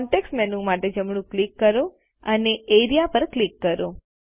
context menu માટે જમણું click કરો અને એઆરઇએ પર ક્લિક કરો